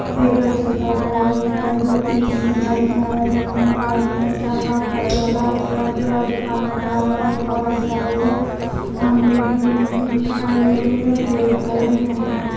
एक बच्चा सरक रहा है ऊपर दो तीन तीनों लड़कियां बैठी हुई है और बाजू में एक लड़का ऊपर चढ़ रहा है उस लड़के और एक आदमी खड़ा हुआ है एक औरत जा रही है सामने एक बिल्डिंग दिखाई दे रही है और पेड़ दिखाए दे रहे हैं।